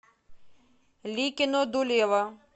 ликино дулево